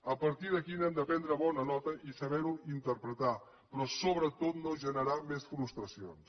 a partir d’aquí n’hem de prendre bona nota i saber ho interpretar però sobretot no generar més frustracions